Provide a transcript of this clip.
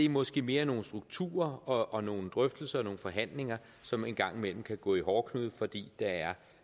måske mere nogle strukturer og nogle drøftelser og forhandlinger som en gang imellem kan gå i hårdknude fordi der er